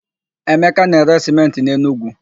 Emeka na-ere sịmentị n'Enugwu.